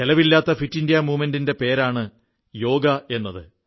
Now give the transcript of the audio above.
ചെലവില്ലാത്ത fit India മൂവ്മെന്റിന്റെ പേരാണ് യോഗ എന്നത്